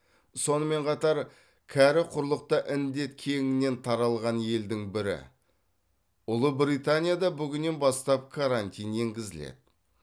сонымен қатар кәрі құрлықта індет кеңінен таралған елдің бірі ұлыбританияда бүгіннен бастап карантин енгізіледі